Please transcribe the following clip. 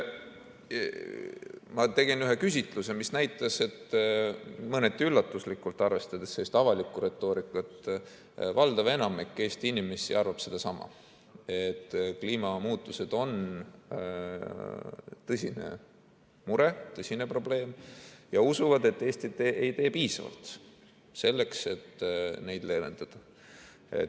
Ma tegin ühe küsitluse, mis näitas – mõneti üllatuslikult, arvestades avalikku retoorikat –, et valdav enamik Eesti inimesi arvab sedasama, et kliimamuutused on tõsine mure, tõsine probleem, ja usub, et Eesti ei tee piisavalt selleks, et neid leevendada.